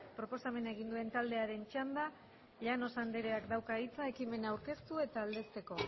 proposamena egin duen taldearen txanda llanos andreak dauka hitza ekimena aurkeztu eta aldezteko